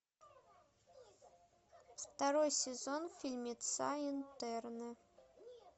второй сезон фильмеца интерны